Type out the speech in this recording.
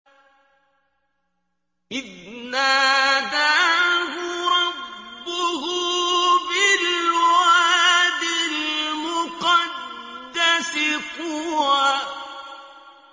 إِذْ نَادَاهُ رَبُّهُ بِالْوَادِ الْمُقَدَّسِ طُوًى